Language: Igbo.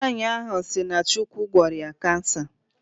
Nwaanyi ahụ si na Chukwu gwọrọ ya cancer